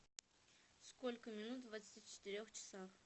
сколько минут в двадцати четырех часах